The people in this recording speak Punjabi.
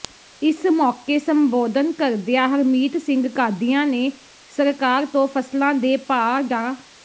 ਇਸ ਮੌਕੇ ਸੰਬੋਧਨ ਕਰਦਿਆ ਹਰਮੀਤ ਸਿੰਘ ਕਾਦੀਆਂ ਨੇ ਸਰਕਾਰ ਤੋਂ ਫ਼ਸਲਾਂ ਦੇ ਭਾਅ ਡਾ